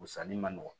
Sanni ma nɔgɔn